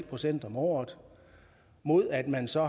procent om året mod at man så